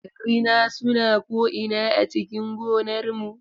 Rina suna ko'ina a cikin gonar mu.